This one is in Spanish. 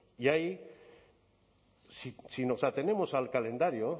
y ahí si nos atenemos al calendario